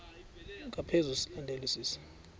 ngaphezu silandelwa sisi